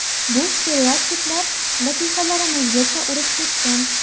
Bu stereotiplar latifalarimizgacha urib ketgan.